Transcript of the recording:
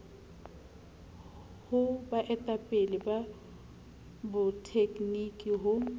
ho baeletsi ba botegniki ho